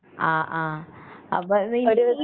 ആഹ് ആഹ അപ്പോ നീ